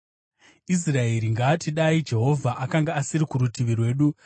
Israeri ngaati dai Jehovha akanga asiri kurutivi kwedu,